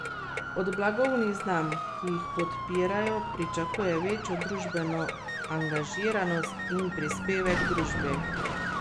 Po naših zanesljivih informacijah to ne bo Gregor Jaklič, ki je konec marca v Trimu prevzel funkcijo prokurista.